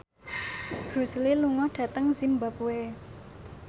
Bruce Lee lunga dhateng zimbabwe